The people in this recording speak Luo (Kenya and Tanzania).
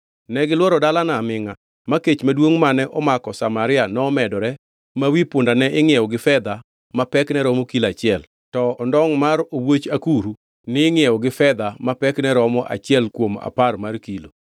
Negilworo dalano amingʼa ma kech maduongʼ mane omako Samaria nomedore ma wi punda ne ingʼiewo gi fedha ma pekne romo kilo achiel, to ondongʼ mar owuoch akuru ningʼiewo gi fedha ma pekne romo achiel kuom apar mar kilo.